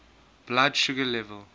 blood sugar level